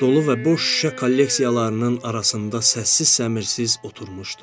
Dolu və boş şüşə kolleksiyalarının arasında səssiz-səmirsiz oturmuşdu.